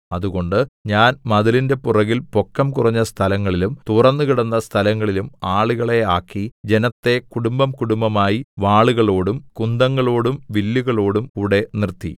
അതുകൊണ്ട് ഞാൻ മതിലിന്റെ പുറകിൽ പൊക്കം കുറഞ്ഞ സ്ഥലങ്ങളിലും തുറന്നുകിടക്കുന്ന സ്ഥലങ്ങളിലും ആളുകളെ ആക്കി ജനത്തെ കുടുംബംകുടുംബമായി വാളുകളോടും കുന്തങ്ങളോടും വില്ലുകളോടും കൂടെ നിർത്തി